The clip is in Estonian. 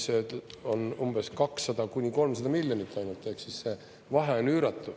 See on umbes 200–300 miljonit, ainult, ehk siis see vahe on üüratu.